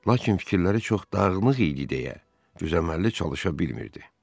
Lakin fikirləri çox dağınıq idi deyə düzəmməli çalışa bilmirdi.